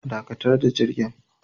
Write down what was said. Dakatar da jirgin